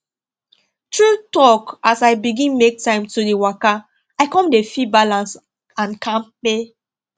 true talk as i begin make time to dey waka i come dey feel balance and kampe